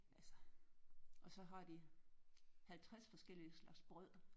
Altså og så har de 50 forskellige slags brød